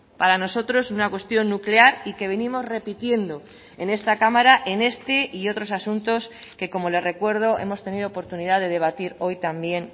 para nosotros una cuestión nuclear y que venimos repitiendo en esta cámara en este y otros asuntos que como le recuerdo hemos tenido oportunidad de debatir hoy también